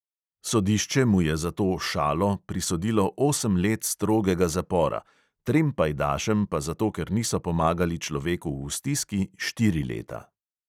Sodišče mu je za to "šalo" prisodilo osem let strogega zapora, trem pajdašem pa zato, ker niso pomagali človeku v stiski, štiri leta.